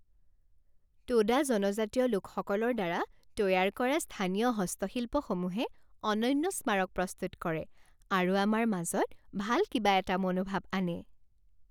টোডা জনজাতীয় লোকসকলৰ দ্বাৰা তৈয়াৰ কৰা স্থানীয় হস্তশিল্পসমূহে অনন্য স্মাৰক প্ৰস্তুত কৰে আৰু আমাৰ মাজত ভাল কিবা এটা মনোভাব আনে।